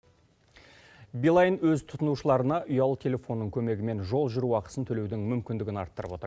билайн өз тұтынушыларына ұялы телефонның көмегімен жол жүру ақысын төлеудің мүмкіндігін арттырып отыр